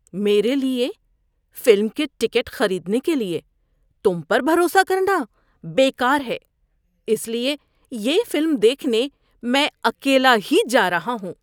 میرے لیے فلم کے ٹکٹ خریدنے کے لیے تم پر بھروسہ کرنا بیکار ہے، اس لیے یہ فلم دیکھنے میں اکیلا ہی جا رہا ہوں۔